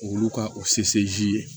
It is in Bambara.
Olu ka o ye